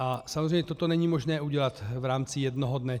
A samozřejmě toto není možné udělat v rámci jednoho dne.